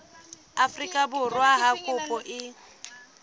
afrika borwa ha kopo e